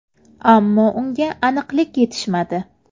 Ammo unga aniqlik yetishmadi.